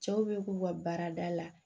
Cɛw be k'u ka baarada la